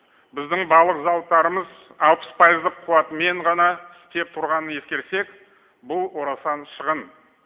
біздің балық зауыттарымыз алпыс пайыздық қуатымен ғана істеп тұрғанын ескерсек бұл орасан шығын